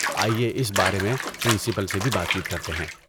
آئیے اس بارے میں پرنسپل سے بھی بات چیت کرتے ہیں۔